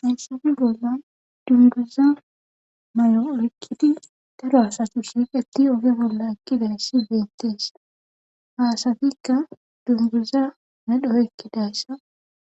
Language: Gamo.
Hayissape bolla dunguza may'o oekkidi daro asatu shirqeti oge bolla ekkidayssi bentees haasatikka dunguza medho ekkidayssa